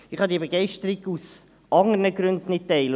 Ich kann diese Begeisterung aus anderen Gründen nicht teilen.